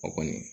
O kɔni